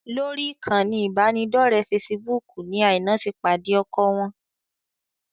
Lórí ìkànnì ìbánidọ́ọ̀rẹ́ fesibúùkù ni Aina ti pàdé ọkọ wọn